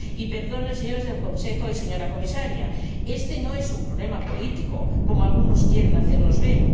Y perdonen, señores del Consejo y señora Comisaria, éste no es un problema político, como algunos quieren hacernos ver.